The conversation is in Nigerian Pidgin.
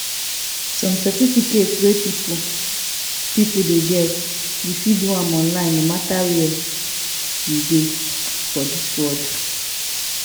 some certificate wey people people dey get u fit do am online no matter where u dey for dis world